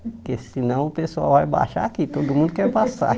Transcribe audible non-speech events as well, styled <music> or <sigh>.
Porque senão o pessoal vai baixar aqui, <laughs> todo mundo quer passar.